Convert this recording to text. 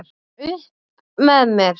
Ég var upp með mér!